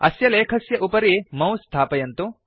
अस्य लेखस्य उपरि मौस स्थापयन्तु